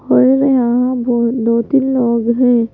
और यहां वह दो-तीन लोग है।